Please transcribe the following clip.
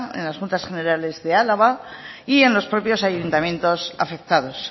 en las juntas generales de álava y en los propios ayuntamientos afectados